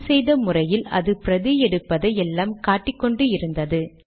முன் செய்த முறையில் அது பிரதி எடுப்பதை எல்லாம் காட்டிக்கொண்டு இருந்தது